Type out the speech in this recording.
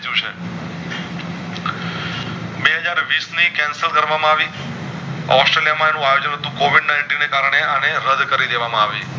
Cancel કરવા માં આવી ઑસ્ટ્રેલિયા માં આજ હતું covid ninety ને કારણે અને રદ કરી દેવામાં આવી